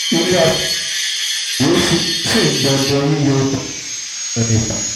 ilé asòfin ondo sì ń dọdẹ yíyọ igbákejì gómìnà nípò